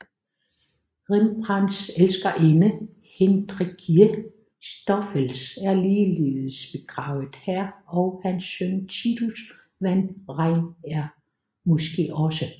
Rembrandts elskerinde Hendrickje Stoffels er ligeledes begravet her og hans søn Titus van Rijn er måske også